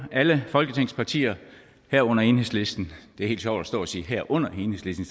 alle folketingets partier herunder enhedslisten det er helt sjovt at stå her og sige herunder enhedslisten